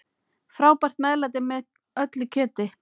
Frábært meðlæti með öllu kjöti.